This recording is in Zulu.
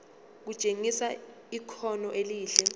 kutshengisa ikhono elihle